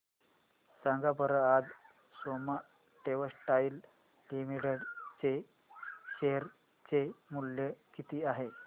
सांगा बरं आज सोमा टेक्सटाइल लिमिटेड चे शेअर चे मूल्य किती आहे